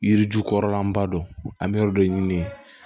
Yiri ju kɔrɔlaba don an bɛ yɔrɔ dɔ ɲini